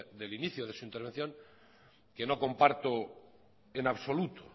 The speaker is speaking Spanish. del inicio de su intervención que no comparto en absoluto